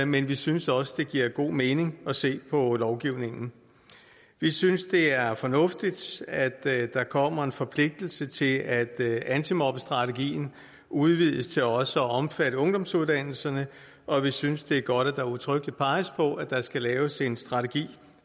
men vi synes også det giver god mening at se på lovgivningen vi synes det er fornuftigt at der kommer en forpligtelse til at antimobbestrategien udvides til også at omfatte ungdomsuddannelserne og vi synes det er godt at der udtrykkeligt peges på at der skal laves en strategi